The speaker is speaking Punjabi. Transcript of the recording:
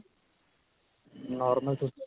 normal ਤੁਸੀਂ.